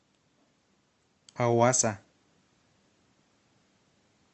ауаса